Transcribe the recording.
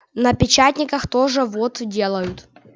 на печатниках тоже вот делают